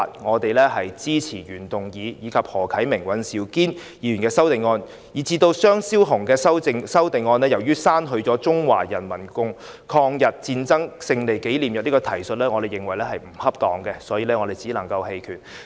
至於張超雄議員的修正案，由於修正案刪去了"中國人民抗日戰爭勝利紀念日"的提述，我們認為並不恰當，所以只能投棄權票。